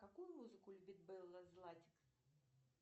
какую музыку любит белла златик